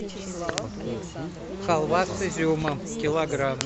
халва с изюмом килограмм